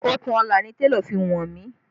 Okùnọlà ni télọ̀ fi wọ̀n mí